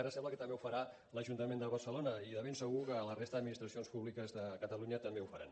ara sembla que també ho farà l’ajuntament de barcelona i de ben segur que la resta d’administracions públiques de catalunya també ho faran